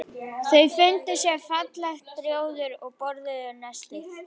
Þau fundu sér fallegt rjóður og borðuðu nestið.